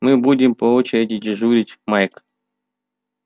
мы будем по очереди дежурить майк